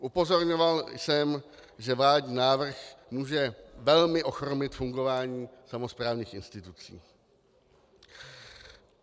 Upozorňoval jsem, že vládní návrh může velmi ochromit fungování samosprávných institucí.